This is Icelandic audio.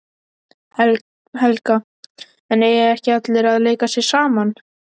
Helga: En eiga ekki allir að leika sér saman?